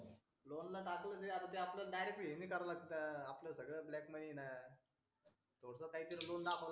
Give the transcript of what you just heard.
loan ला दाखवलं तर आपलं हे नाही सगळं हे करावं लागतं आपलं सगळ हे ब्लॅक मध्ये आहे ना थोडं काहीतरी लोन दाखव